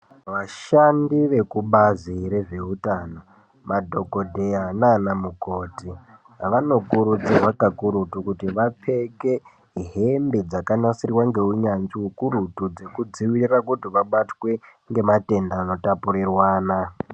Vashandi vekubazi rezveutano, madhogodheya naana mukoti vanokurudzirwa kakurutu kuti vapfeke hembe dzakanasirwa ngeunyanzvi hukurutu dzekudzivirira kuti vabatwe ngematenda anotapurirwana.